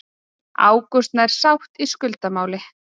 Ágúst nær sátt í skuldamáli